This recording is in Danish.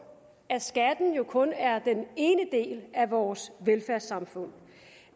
at skatten jo kun er den ene del af vores velfærdssamfund